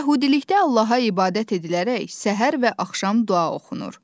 Yəhudilikdə Allaha ibadət edilərək səhər və axşam dua oxunur.